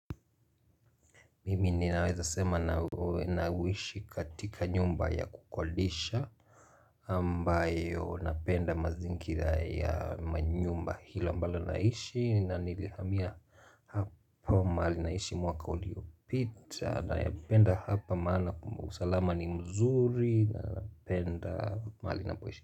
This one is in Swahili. Mimi ninaweza sema na nawishi katika nyumba ya kukodesha ambayo napenda mazingira ya manyumba hilo ambalo naishi na nilihamia hapa mahali naishi mwaka uliopita na napenda hapa maana kumusalama ni mzuri na napenda mahali napoishi.